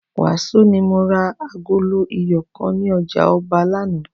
Wàsó ni mo ra agolo iyọ̀ kan ní ọjà ọba lánàá